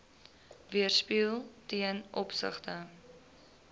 weerspieël ten opsigte